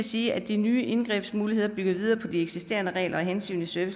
sige at de nye indgrebsmuligheder bygger videre på de eksisterende regler og hensynet til